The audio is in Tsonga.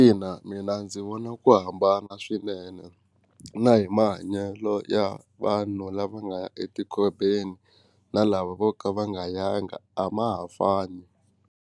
Ina mina ndzi vona ku hambana swinene na hi mahanyelo ya vanhu lava nga ya etikhobeni na lava vo ka va nga yangi a ma ha fani.